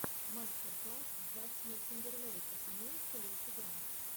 мастер класс джастина тимберлейка имеется ли у тебя